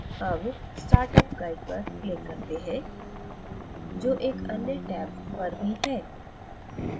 tab startup guide पर click करते हैं जो एक अन्य टैब पर भी है